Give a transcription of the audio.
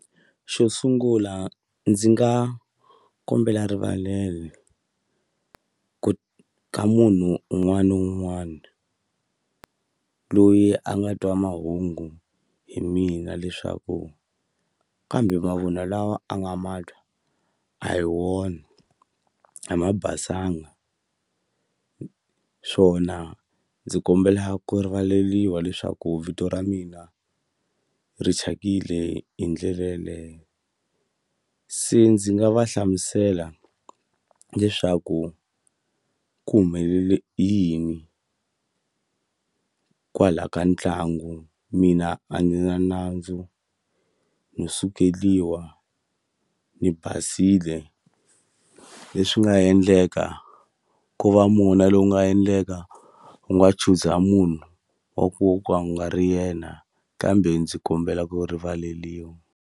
Xo sungula ndzi nga kombela rivalele ku ka munhu un'wani na un'wani loyi a nga twa mahungu hi mina leswaku kambe mavunwa lawa a nga ma twa a hi wona a ma basanga swona ndzi kombela ku rivaleliwa leswaku vito ra mina ri thyakile hi ndlela yeleyo se ndzi nga va hlamusela leswaku ku humelele yini kwala ka ntlangu mina a ni na nandzu no sukeliwa ni basile leswi nga endleka ko va mona lowu nga endleka wu nga chuza munhu wa ku ka u nga ri yena kambe ndzi kombela ku rivaleliwa.